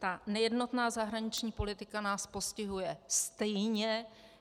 Ta nejednotná zahraniční politika nás postihuje stejně.